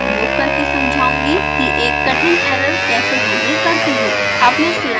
अब मैं स्लाइड्स उपयोग करके समझाती हूँ कि एक कठिन एरर कैसे हैंडल करते हैं